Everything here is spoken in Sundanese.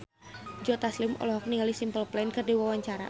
Joe Taslim olohok ningali Simple Plan keur diwawancara